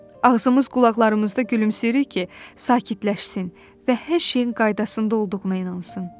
Ağzımız qulaqlarımızda gülümsəyirik ki, sakitləşsin və hər şeyin qaydasında olduğuna inansın.